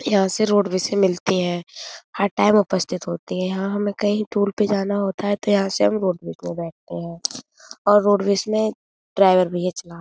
यहाँ से रोड बसें मिलती है। हर टाइम उपस्थित होती है। यहाँ हमें कही टूर पे जाना होता है तो यहाँ से हम रोड बस में बैठते है और रोड बस में ड्राईवर भैया चला--